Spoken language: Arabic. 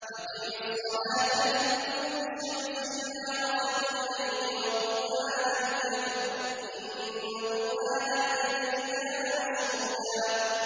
أَقِمِ الصَّلَاةَ لِدُلُوكِ الشَّمْسِ إِلَىٰ غَسَقِ اللَّيْلِ وَقُرْآنَ الْفَجْرِ ۖ إِنَّ قُرْآنَ الْفَجْرِ كَانَ مَشْهُودًا